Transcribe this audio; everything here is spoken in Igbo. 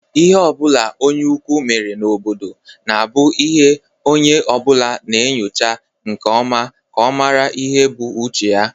lhe obula onye ukwu mere n'obodo na-abu ihe onye obula na-enyocha nke oma ka a mara ihe o bu n'uche.